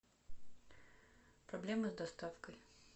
проблемы с доставкой